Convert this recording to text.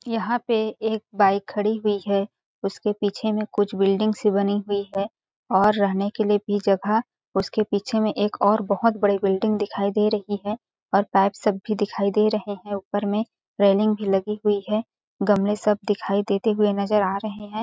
यहाँ पे एक बाइक खड़ी हुई है उसके पीछे में कुछ बिल्डिंग सी बनी हुई है और रहने के लिए भी जगह उसके पीछे में और बहुत बड़ी बिल्डिंग दिखाई दे रही है और पाइप सब भी दिखाई दे रहैं हैं और ऊपर में रेलिंग भी लगी हुई है गमले सब दिखाई देते हुए नज़र आ रहैं हैं।